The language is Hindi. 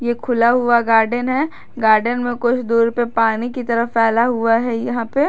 ये खुला हुआ गार्डन हैं गार्डन में कुछ दूर पर पानी की तरह फैला हुआ है यहां पे।